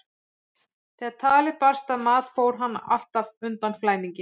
Þegar talið barst að mat fór hann alltaf undan í flæmingi.